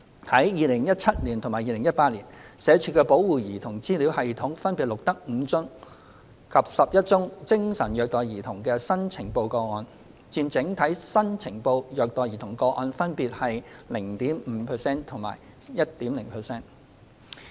在2017年及2018年，社署的保護兒童資料系統分別錄得5宗及11宗精神虐待兒童的新呈報個案，佔整體新呈報虐待兒童個案分別約 0.5% 及 1.0%。